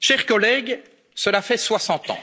Chers collègues, cela fait soixante ans,